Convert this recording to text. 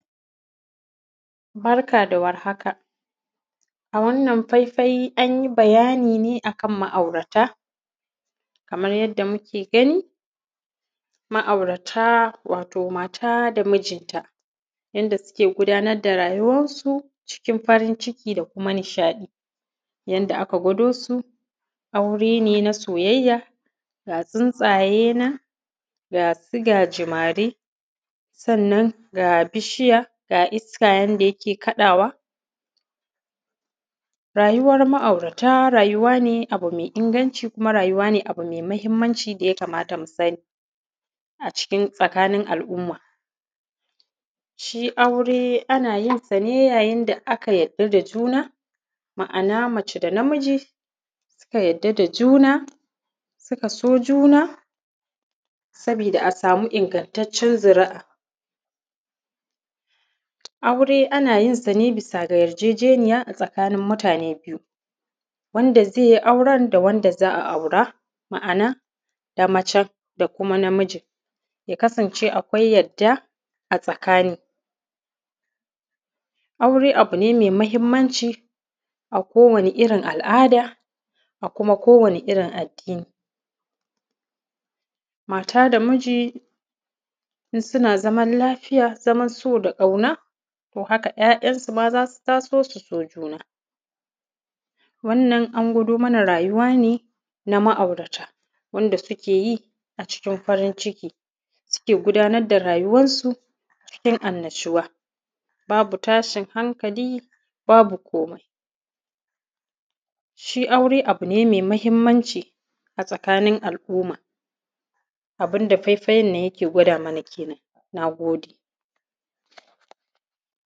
Barka da warhaka, a wannan faifai an yi bayani ne a kan ma’aurata. Kamar yadda muke gani, ma’aurata, wato mata da mijinta, yanda suke gudanar da rayuwansu cikin farin ciki da kuma nishaɗi. Yanda aka gwado su, aure ne na soyayya, ga tsintsaye nan, ga su gajimare, sannan ga bishiya, ga iska yanda yake kaɗawa. Rayuwar ma’aurata, rayuwa ne abu me inganci kuma rayuwa ne abu me mahimmanci da ya kamata mu sani a cikin; tsakin al’umma. Shi aure, ana yin sa ne yayin da aka yadda da juna, ma’ana mace da namiji suka yadda da juna, suna so juna, saboda a samu ingantaccen zuri’a. Aure ana yin sa ne bisa ga yarjejeniya a tsakanin mutane biyu, wanda ze yi auren da wanda za a aura, ma’ana da macen da kuma namijin, ya kasance akwai yadda a tsakani. Aure, abu ne me mahimmanci a kowane irin al’ada a kuma kowane irin addini. Mata da miji, in suna zamal lafiya, zaman so da ƙauna, to haka ‘ya’yansu ma za su taso su so juna. Wannan, an gwado mana rayuwa ne na ma’aurata, wanda suke yi a cikin farin ciki, suke gudanar da rayuwansu cikin annashuwa, babu tashin hankali, babu komai. Shi aure, abu ne me mahimmanci a tsakanin al’umma, abin da fefayan nan yake gwada mana kenan, na gode.